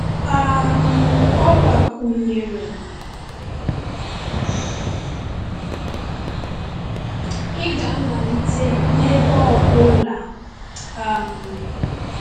um Ọ gbakwụnyere: Ị ga-amalite n’ebe ọ bụla.[um]